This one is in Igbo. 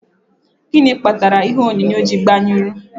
Gịnị kpatara ihe onyonyo ji gbanyụrụ?